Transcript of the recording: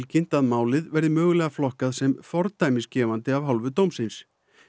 kynnt að málið verði mögulega flokkað sem fordæmisgefandi af hálfu dómsins